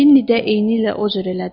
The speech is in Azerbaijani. Lenni də eynilə o cür elədi.